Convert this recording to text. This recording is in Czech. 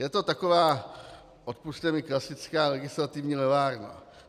Je to taková, odpusťte mi, klasická legislativní levárna.